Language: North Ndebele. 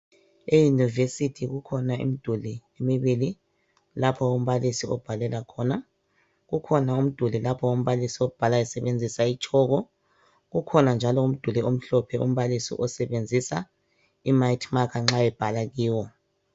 Eyunivesithi kukhona imiduli emibili lapho umbalisi obhalela khona. Kukhona umbalisi abhala khona esebenzisa itshoko kukhona njalo umduli omhlophe umbalisa asebenzisa imayithi makha nxa ebhala kuyona.